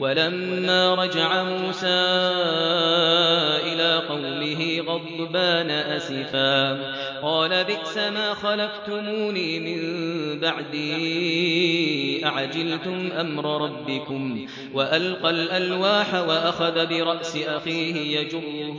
وَلَمَّا رَجَعَ مُوسَىٰ إِلَىٰ قَوْمِهِ غَضْبَانَ أَسِفًا قَالَ بِئْسَمَا خَلَفْتُمُونِي مِن بَعْدِي ۖ أَعَجِلْتُمْ أَمْرَ رَبِّكُمْ ۖ وَأَلْقَى الْأَلْوَاحَ وَأَخَذَ بِرَأْسِ أَخِيهِ يَجُرُّهُ